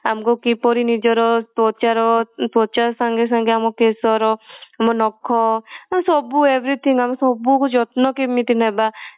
ଆମକୁ କିପରି ନିଜର ତ୍ୱଚା ର ତ୍ୱଚା ସଙ୍ଗେସଙ୍ଗେ କେଶ ର ଆମ ନଖ ସବୁ everything ଆମେ ସବୁ ଯତ୍ନ କେମିତି ନବା